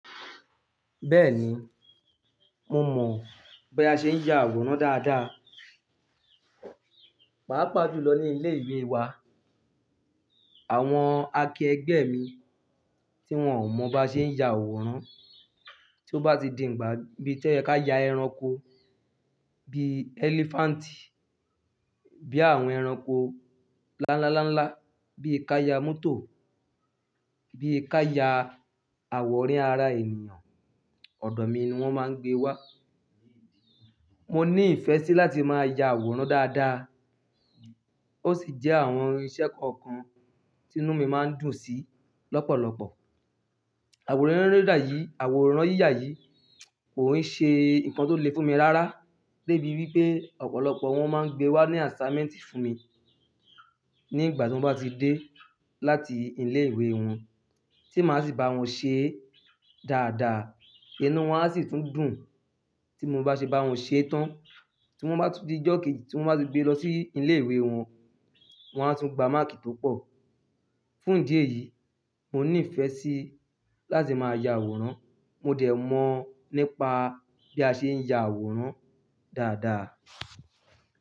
Bẹ́ẹ̀ni, mo mọ̀ bí a ṣe ń ya àwòrán dáadáa. Pàápàá ju lọ ní ilé ìwé wa. Àwọn akẹgbẹ́ mi tí wón ò mọ̀ bá ṣe ń ya àwòrán, tí ó bá ti di ìgbà bí to yẹ ká ya ẹranko bi elephant, bí àwọn ẹranko láńláńláńlá, bí i ká ya mótò, bí i ká ya àwòrán ara ènìyàn, ọ̀dọ̀ mi ni wón máa ń gbé wá. Mo ní ìfẹ́ sí láti máa ya àwòrán dáadáa. Ó sì jẹ́ àwọn irinṣẹ́ kọ̀ọ̀kan tí inú mi máa ń dùn sí lọ́pọ̀lọpọ̀. Àwòrán yiya yìí, àwòrán yíyà yìí kò n ṣe nǹkan tó le fún mi rárá débi wípé ọ̀pọ̀lọpọ̀ wọ́n máa ń gbé wá ní assignment fún mi nígbà tí wọn bá ti dé láti ilé ìwé wọn tí màá sì bá wọn ṣe dáadáa. Inú wọn a sì tún dùn tí mo bá ṣe bá wọn ṣe tán tí wọ́n bá ti dijọ̀ kejì tí wọ́n bá ti gbé lọ sí ilé ìwé wọn, wọ́n á tún gba máàkì tó pọ̀. Fún ìdí èyí, mo ní ìfẹ́ sí láti máa ya àwòrán. Mo dẹ̀ mọ̀ nípa bí a ṣe ń ya àwòrán dáadáa.